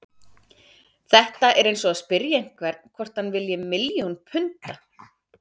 Þetta er eins og að spyrja einhvern hvort hann vilji milljón punda.